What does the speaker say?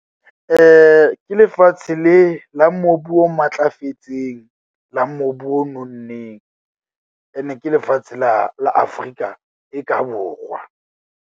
Ke lefatshe le la mobu o matlafetseng la mobu o nonneng. Ene ke lefatshe la la Afrika e ka Borwa.